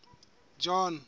john